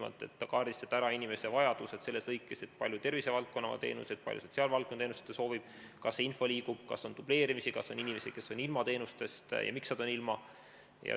Sellega tehakse kindlaks inimese vajadused selles mõttes, kui palju tervisevaldkonna teenuseid ja kui palju sotsiaalvaldkonna teenuseid ta soovib, kas info liigub, kas on dubleerimisi, kas on inimesi, kes on teenustest ilma jäänud ja miks nad on ilma jäänud.